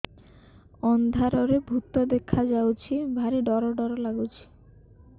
ଅନ୍ଧାରରେ ଭୂତ ଦେଖା ଯାଉଛି ଭାରି ଡର ଡର ଲଗୁଛି